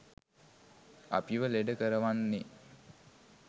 අපිව ලෙඩ කරවන්නේ.